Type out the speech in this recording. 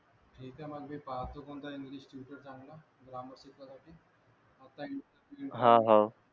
ठीक आहे मग मी पाहतो कोणता इंग्लिश टीचर चांगला ग्रामर शिकवासाठी